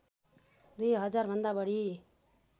दुई हजारभन्दा बढी